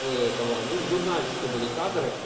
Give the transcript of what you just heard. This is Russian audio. этого ну в журнальчике были кадры